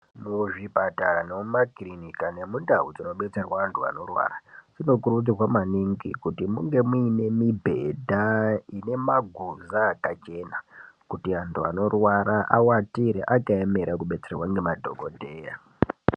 Muzvipatara nemumakirinika nemundau dzinobetserwa antu anorwara zvinokurudzirwa maningi kuti munge muine mibhedha ine maguza akachena kuti antu anorwara awatire akaemera kubetserwa ngemadhokodheya.